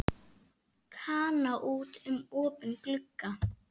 Kana út um opinn glugga.